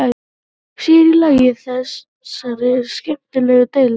Sér í lagi í þessari skemmtilegu deild.